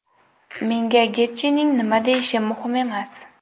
Menga Getjining nima deyishi muhim emas.